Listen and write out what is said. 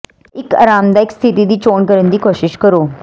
ਇੱਕ ਆਰਾਮਦਾਇਕ ਸਥਿਤੀ ਦੀ ਚੋਣ ਕਰਨ ਦੀ ਕੋਸ਼ਿਸ਼ ਕਰੋ